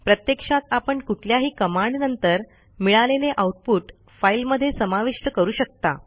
प्रत्यक्षात आपण कुठल्याही कमांड नंतर मिळालेले आऊटपुट फाईलमध्ये समाविष्ट करू शकता